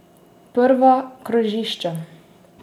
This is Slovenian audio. Prva krožišča?